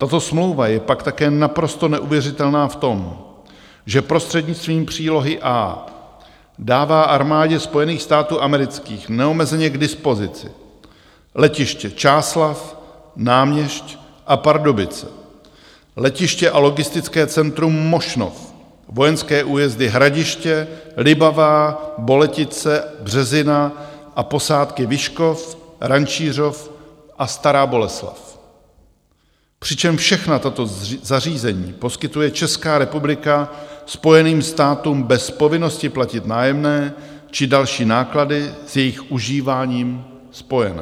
Tato smlouva je pak také naprosto neuvěřitelná v tom, že prostřednictvím přílohy A dává armádě Spojených států amerických neomezeně k dispozici letiště Čáslav, Náměšť a Pardubice, letiště a logistické centrum Mošnov, vojenské újezdy Hradiště, Libavá, Boletice, Březina a posádky Vyškov, Rančířov a Stará Boleslav, přičemž všechna tato zařízení poskytuje Česká republika Spojeným státům bez povinnosti platit nájemné či další náklady s jejich užíváním spojené.